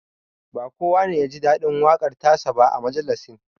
Ba kowa ne ya ji daɗin waƙar ta sa ba a majalisin